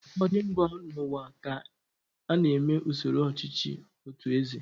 Ụfọdụ mba n'ụwa ka na-eme usoro ọchịchị otụ eze.